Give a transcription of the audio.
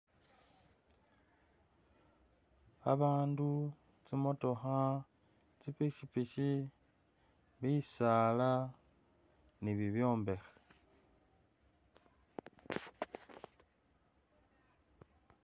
Abandu tsimotookha zi pikipiki bisaala ni bibyombekhe